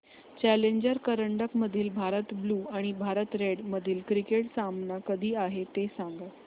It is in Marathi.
चॅलेंजर करंडक मधील भारत ब्ल्यु आणि भारत रेड मधील क्रिकेट सामना कधी आहे ते सांगा